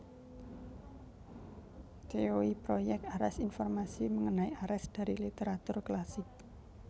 Theoi Project Ares Informasi mengenai Ares dari literatur klasik